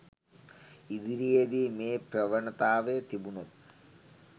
ඉදිරියේදී මේ ප්‍රවණතාවය තිබුණොත්